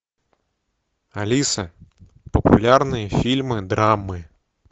алиса популярные фильмы драмы